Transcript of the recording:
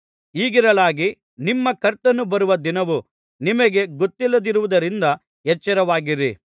ಹೀಗಿರಲಾಗಿ ನಿಮ್ಮ ಕರ್ತನು ಬರುವ ದಿನವು ನಿಮಗೆ ಗೊತ್ತಿಲ್ಲದಿರುವುದರಿಂದ ಎಚ್ಚರವಾಗಿರಿ